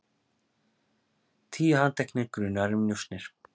Tíu handteknir grunaðir um njósnir